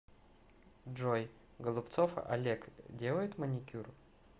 джой голубцов олег делает маникюр